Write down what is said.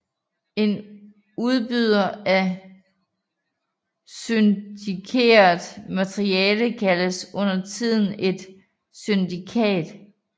En udbyder af syndikeret materiale kaldes undertiden et syndikat